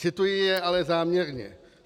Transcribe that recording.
Cituji je ale záměrně.